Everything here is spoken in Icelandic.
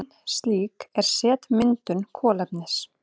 Ein slík er setmyndun kolefnis.